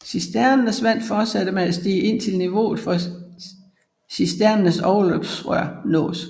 Cisternens vand fortsætter med at stige indtil niveauet for cisternens overløbsrør nås